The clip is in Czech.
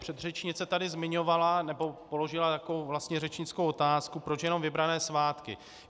Předřečnice tady zmiňovala, nebo položila takovou vlastně řečnickou otázku, proč jenom vybrané svátky.